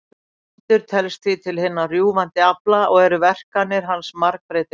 Vindur telst því til hinna rjúfandi afla og eru verkanir hans margbreytilegar.